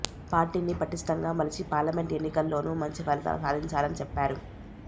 పార్టీని పటిష్టంగా మలిచి పార్లమెంట్ ఎన్నికల్లోనూ మంచి ఫలితాలు సాధించాలని చెప్పారు